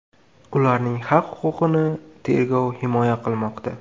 Ularning haq-huquqini tergov himoya qilmoqda.